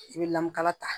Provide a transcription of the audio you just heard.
I bɛ lamukala ta